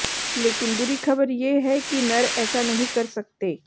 लेकिन बुरी ख़बर ये है कि नर ऐसा नहीं कर सकते